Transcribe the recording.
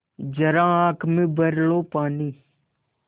ज़रा आँख में भर लो पानी